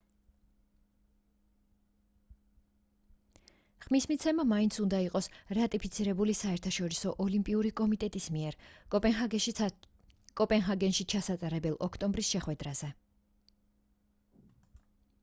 ხმის მიცემა მაინც უნდა იყოს რატიფიცირებული საერთაშორისო ოლიმპიური კომიტეტის მიერ კოპენჰაგენში ჩასატარებელ ოქტომბრის შეხვედრაზე